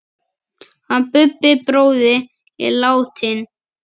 Hann Bubbi bróðir er látinn.